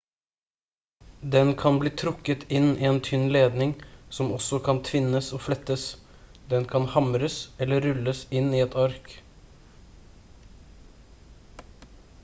den kan bli trukket inn i en tynn ledning som også kan tvinnes og flettes den kan hamres eller rulles inn i et ark